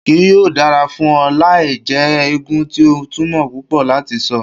Kii yoo dara fun ọ lae jẹ eegun ti o tumọ pupọ lati sọ